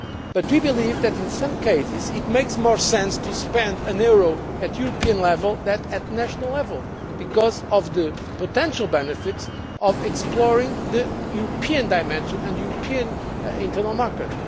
However, we believe that in some cases, it makes more sense to spend a euro at European level than at national level because of the potential benefits of exploring the European dimension and the European internal market.